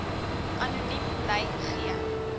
anoniem bly gee